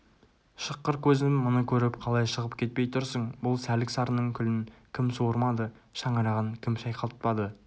шыққыр көзім мұны көріп қалай шығып кетпей тұрсың бұл сәлік-сарының күлін кім суырмады шаңырағын кім шайқалтпады